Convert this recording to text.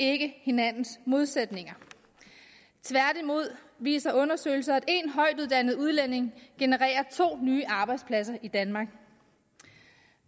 ikke hinandens modsætninger tværtimod viser undersøgelser at én højtuddannet udlænding genererer to nye arbejdspladser i danmark